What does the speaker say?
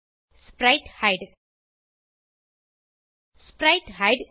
ஸ்பிரைட்ஹைடு ஸ்பிரைட்ஹைடு